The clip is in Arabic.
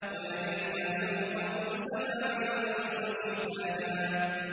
وَبَنَيْنَا فَوْقَكُمْ سَبْعًا شِدَادًا